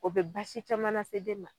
O be baasi caman lase den ma